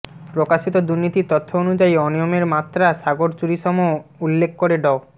প্রকাশিত দুর্নীতির তথ্য অনুযায়ী অনিয়মের মাত্রা সাগরচুরিসম উল্লেখ করে ড